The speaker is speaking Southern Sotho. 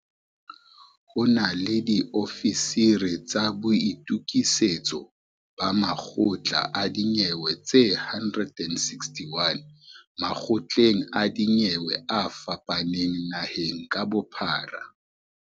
Ho na le diofisiri tsa boitukisetso ba makgotla a dinyewe tse 161 makgotleng a dinyewe a fapaneng naheng ka bophara.